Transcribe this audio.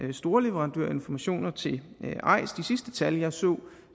er storleverandør af informationer til eis de sidste tal jeg så